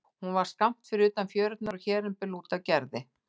Hún var skammt fyrir utan fjörurnar og hér um bil út af Gerði.